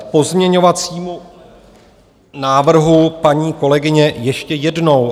K pozměňovacímu návrhu paní kolegyně ještě jednou.